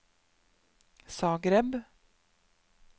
Zagreb